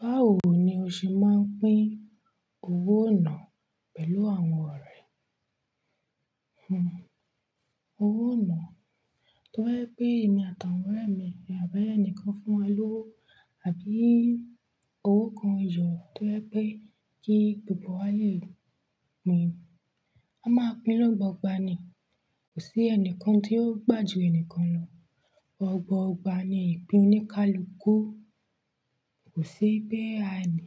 Báwo ni o ṣe máa ń pín owó ìnáá pẹ̀lú àwọn ọ̀rẹ́? Hmmm owó ináà tó ba jẹ́ pé èmi àti awọn ọ̀rẹ́ mi, àbí ẹ̀níyàn kan fún wa lówó, àbí owó kan yọ tó jẹ́ pé kí gbogbo wa lè pín, a máa pín lọ́gbọ́n ọgbọ́n ni, kò sí ẹnìkan tí yóò gbà ju ẹni kan lọ. Ọgba ọgba ni ìpín oníkálukú, kò sí pé